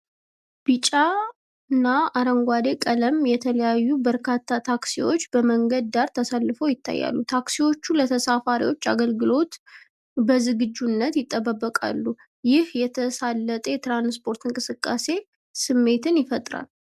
በቢጫና አረንጓዴ ቀለም የተለዩ በርካታ ታክሲዎች በመንገድ ዳር ተሰልፈው ይታያሉ። ታክሲዎቹ ለተሳፋሪዎች አገልግሎት በዝግጁነት ይጠብቃሉ፤ ይህም የተሳለጠ የትራንስፖርትና የእንቅስቃሴ ስሜትን ይፈጥራል።